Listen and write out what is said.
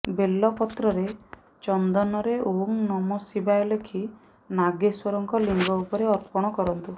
ବେଲପତ୍ରରେ ଚନ୍ଦନରେ ଓଁ ନମଃ ଶିବାୟ ଲେଖି ନାଗେଶ୍ୱରଙ୍କ ଲିଙ୍ଗ ଉପରେ ଅର୍ପଣ କରନ୍ତୁ